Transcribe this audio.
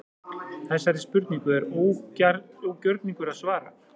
Þessari spurningu er ógjörningur að svara.